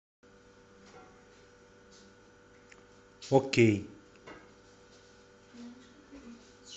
окей